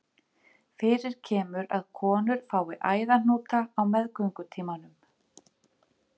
Fyrir kemur að konur fái æðahnúta á meðgöngutímanum.